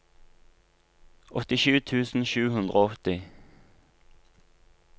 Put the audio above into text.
åttisju tusen sju hundre og åtti